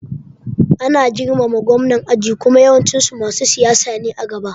Ana girmama Gwamnan aji kuma yawancin su masu siyasa ne a gaba